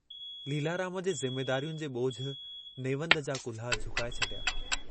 लीलाराम जे ज़िम्मेदारियुनि जे ॿोझ नेवंद जा कुल्हा झुकाए छॾिया।